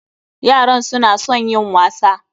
Yaran su na son yin wasa.